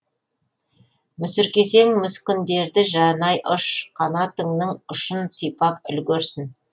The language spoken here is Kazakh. мүсіркесең мүскіндерді жанай ұш қанатыңның ұшын сипап үлгерсін